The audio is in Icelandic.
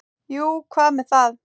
Jú, og hvað með það?